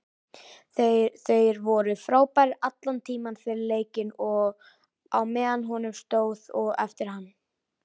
Þeir voru frábærir allan tímann, fyrir leikinn og á meðan honum stóð og eftir hann.